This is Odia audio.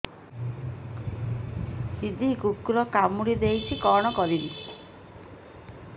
ଦିଦି କୁକୁର କାମୁଡି ଦେଇଛି କଣ କରିବି